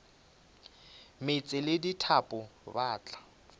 meetse le dithapo ba tla